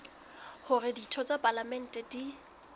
hore ditho tsa palamente di